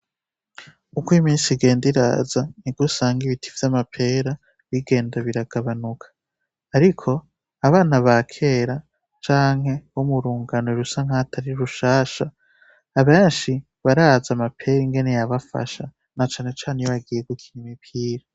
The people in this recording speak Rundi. Kuko imisi igenda iraza ntigusanga ibiti vy'amapera bigenda biragabanuka, ariko abana ba kera canke bo murungano rusa nk'atari rushasha abenshi baraza amapera ingene yabafasha na canecane iyo bagiye gukira imipira.